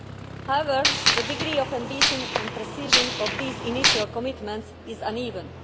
However, the degree of ambition and precision of these initial commitments is uneven.